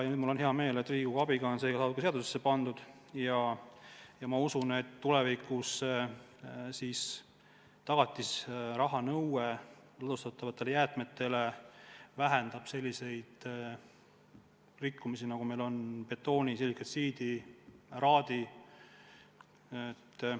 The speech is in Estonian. Mul on hea meel, et Riigikogu abiga on see nüüd seadusesse pandud, ja ma usun, et tulevikus tagatisraha nõue ladustatavate jäätmete korral vähendab selliseid rikkumisi, nagu meil on näiteks betooni ja silikaltsiidi puhul.